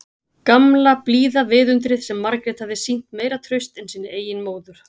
Gamla, blíða viðundrið sem Margrét hafði sýnt meira traust en sinni eigin móður.